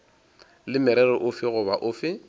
le morero ofe goba ofe